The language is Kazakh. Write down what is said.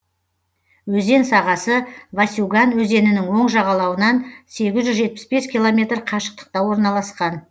өзен сағасы васюган өзенінің оң жағалауынан сегіз жүз жетпіс бес километр қашықтықта орналасқан